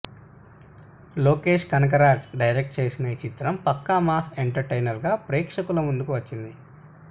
Lokesh Kanagaraj direct చేసిన ఈ చిత్రం పక్కా మాస్ ఎంటర్ టైనర్గా ప్రేక్షకుల ముందుకు వచ్చింది